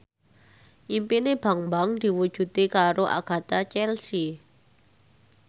impine Bambang diwujudke karo Agatha Chelsea